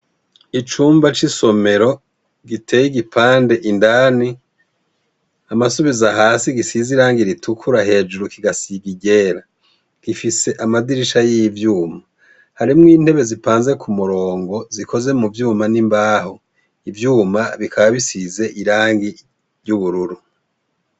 Icumba c'isomero giteye igipande indani amasubizo hasi gisizeirangi ritukura hejuru kigasigigera gifise amadirisha y'ivyuma harimwo intebe zipanze ku murongo zikoze mu vyuma n'imbaho ivyuma bikaabisize irangi ry'uburuwra ura.